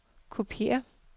kopiér